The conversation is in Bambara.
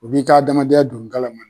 U b'i ka adamadenya don galama na.